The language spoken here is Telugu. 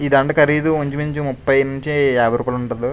ఈ దండ ఖరీదు ఇంచుమించు ముప్పై నుంచీ యాభై రూపాయల ఉంటది.